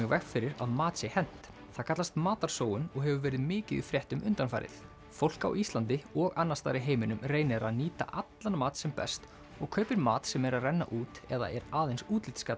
veg fyrir að mat sé hent það kallast matarsóun og hefur verið mikið í fréttum undanfarið fólk á Íslandi og annars staðar í heiminum reynir að nýta allan mat sem best og kaupir mat sem er að renna út eða er aðeins